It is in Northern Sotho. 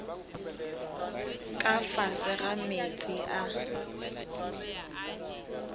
ka fase ga meetse a